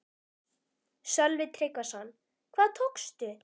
Sölvi Tryggvason: Hvað tókstu?